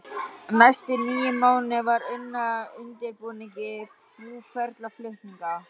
Næstu níu mánuði var unnið að undirbúningi búferlaflutninga.